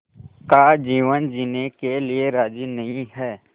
का जीवन जीने के लिए राज़ी नहीं हैं